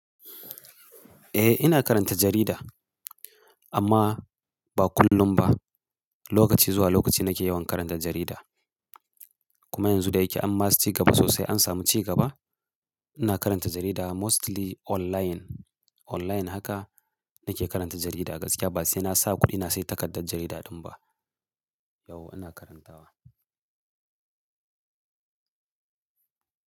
Eh ina karanta jarida, amma ba kullum ba. Lokaci zuwa lokaci nake yawan karanta jarida. Kuma yanzu da yake an ma ci gaba sosai an samu ci gaba, ina karanta jarida mostly online. Online haka nake karanta jarida gaskiya ba sai na sa kuɗi na sayi takardar jarida ɗin ba. Yauwa ina karantawa.